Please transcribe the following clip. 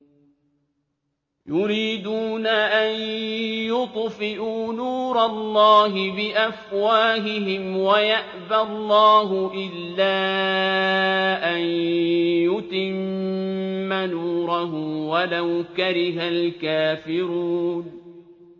يُرِيدُونَ أَن يُطْفِئُوا نُورَ اللَّهِ بِأَفْوَاهِهِمْ وَيَأْبَى اللَّهُ إِلَّا أَن يُتِمَّ نُورَهُ وَلَوْ كَرِهَ الْكَافِرُونَ